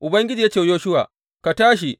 Ubangiji ya ce wa Yoshuwa, Ka tashi!